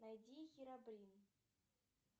найди хиробрин